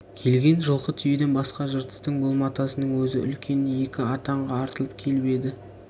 келген жылқы түйеден басқа жыртыстың бұл-матасының өзі екі үлкен атанға артылып келіп еді